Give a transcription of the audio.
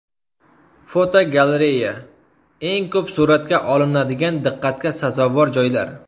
Fotogalereya: Eng ko‘p suratga olinadigan diqqatga sazovor joylar.